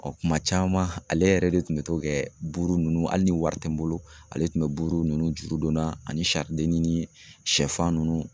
Ɔ kuma caman ale yɛrɛ de tun bɛ to kɛ buru nunnu ale ni wari tɛ n bolo ale tun bɛ buru nunnu juru don n na ani ni shɛ fan nunnu.